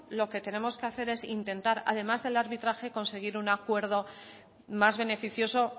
lo que tenemos que hacer es intentar además del arbitraje conseguir un acuerdo más beneficioso